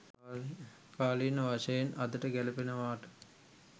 කාලීන වශයෙන් අදට ගැළපෙනවාට